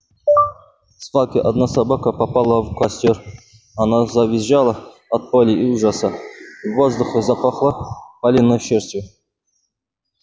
в свалке одна собака попала в костёр она завизжала от боли и ужаса и в воздухе запахло палёной шерстью